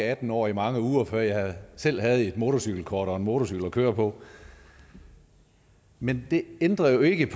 atten år i mange uger før jeg selv havde et motorcykelkort og en motorcykel at køre på men det ændrer jo ikke